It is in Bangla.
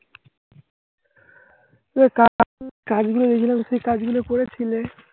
কাজগুলো দিয়েছিলাম, সেই কাজগুলো করেছিলে.